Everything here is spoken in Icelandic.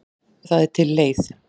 Það er til leið.